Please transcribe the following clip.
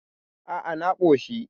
A a, na koshi